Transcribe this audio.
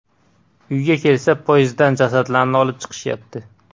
Uyga kelsa, podyezddan jasadlarni olib chiqishyapti.